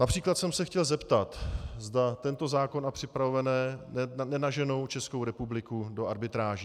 Například jsem se chtěl zeptat, zda tento zákon a připravené nenaženou Českou republiku do arbitráží.